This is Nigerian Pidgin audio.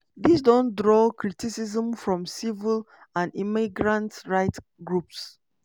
dis don draw criticism from civil and immigrant right groups.